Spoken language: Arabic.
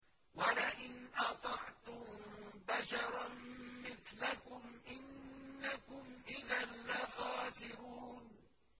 وَلَئِنْ أَطَعْتُم بَشَرًا مِّثْلَكُمْ إِنَّكُمْ إِذًا لَّخَاسِرُونَ